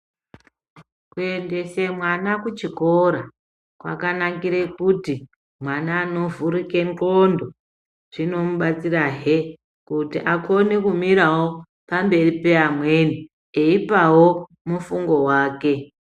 Kuendese mwana kuchikora, kwakanakire kuti mwana anovhurike ndxondo, zvinomubatsirahe kuti akone kumirawo pamberi peamweni eyipawo mufungo wake.